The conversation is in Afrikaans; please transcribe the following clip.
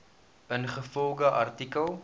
ingevolge artikel